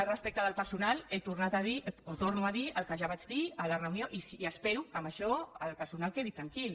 respecte del personal torno a dir el que ja vaig dir a la reunió i espero que amb això el personal quedi tranquil